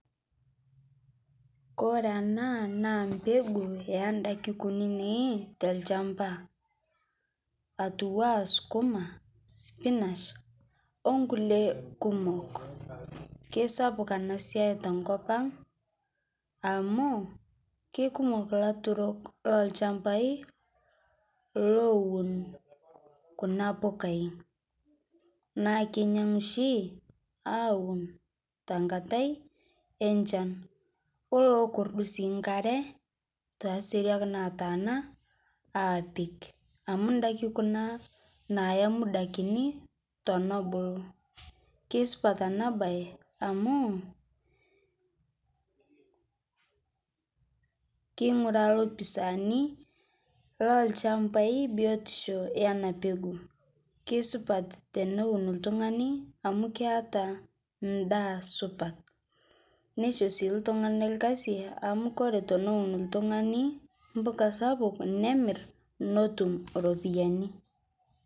Kore ana naa mpeguu endaki kunini telshampaa atuwaa skumaa, spinash, onkulie kumok keisapuk ana siai tenkopang' amuu keikumok laturok lolshampai lowun kuna pukai naa keinyang'u shi awun tankatai enshan olokordu sii nkaree taseriak nataana apik amu ndaki kunaa nayaa muda kinii tonobuluu keisupat anaa bai amuu keing'uraa lopisanii lolshampai biotishoo yana peguu keisupat teneun ltung'ani amu keataa ndaa supat neishoo sii ltung'ana lkazii amu kore teneun ltung'ani mpukaa sapuk nemir notum ropiyani.